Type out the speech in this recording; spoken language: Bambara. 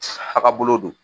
A ka bolo don